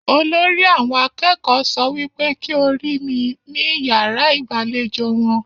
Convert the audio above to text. Olórí àwọn akẹ́kọ̀ọ́ sọ wípé kí o ri mi ni iyàrá igbalejo wọn.